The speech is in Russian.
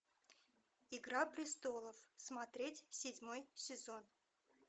игра престолов смотреть седьмой сезон